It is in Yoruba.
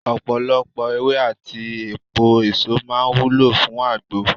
Ọ̀pọ̀lọpọ̀ ewé àti èpo èso máa ń wúlò fún agbo.